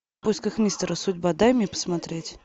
в поисках мистера судьба дай мне посмотреть